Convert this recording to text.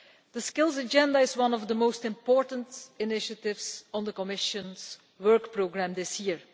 The Skills Agenda is one of the most important initiatives on the Commission's Work Programme this year.